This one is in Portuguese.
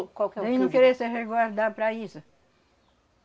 O qual que é o... não querer se resguardar para isso.